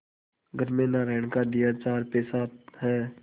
घर में नारायण का दिया चार पैसा है